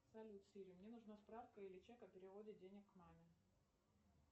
салют сири мне нужна справка или чек о переводе денег маме